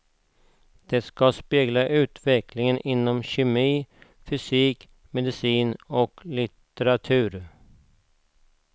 Det ska spegla utvecklingen inom kemi, fysik, medicin och litteratur.